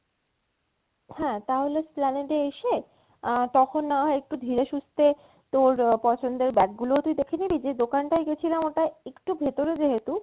হ্যাঁ তাহলে Esplanade এ এসে আহ তখন নয় একটু ধীরে সুস্থে তোর পছন্দের bag গুলো তুই দেখে নিবি যে দোকান টায় গেছিলাম ওটা একটু ভেতোরে যেহেতু,